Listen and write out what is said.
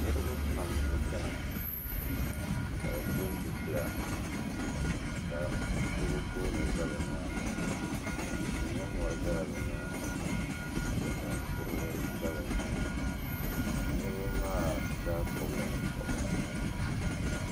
Niriba pam n chena ka bɛ pili zipila ka kurigu goola za bɛ nyaanga tihi ni mori zala bɛ nyaanga ka dikpini kurili za bɛ nyaanga niriba maa zaa pobla nye'pobrisi.